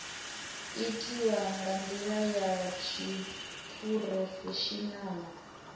itiwa nga ndila ya tshiphurofeshinala